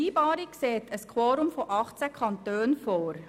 Die Vereinbarung sieht ein Quorum von 18 Kantonen vor.